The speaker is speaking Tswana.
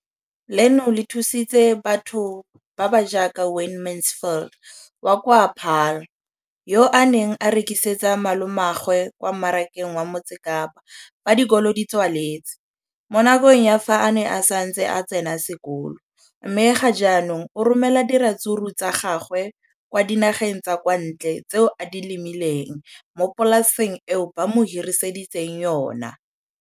leno le thusitse batho ba ba jaaka Wayne Mansfield, 33, wa kwa Paarl, yo a neng a rekisetsa malomagwe kwa Marakeng wa Motsekapa fa dikolo di tswaletse, mo nakong ya fa a ne a santse a tsena sekolo, mme ga jaanong o romela diratsuru tsa gagwe kwa dinageng tsa kwa ntle tseo a di lemileng mo polaseng eo ba mo hiriseditseng yona.